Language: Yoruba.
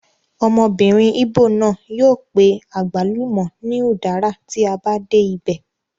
Ọmọbìnrin ìgbò náà yóò pe àgbálùmọ̀ ní udara tí a bá dé ibẹ̀